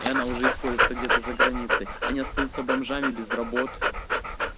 и она уже используется где-то за границей они остаются бомжами без работ